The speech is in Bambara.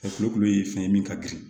Farikolo ye fɛn ye min ka girin